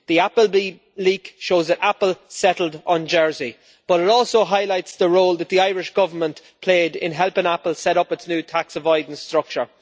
The Apple leak shows that Apple settled on Jersey, but it also highlights the role that the Irish Government played in helping Apple set up its new tax avoidance structure.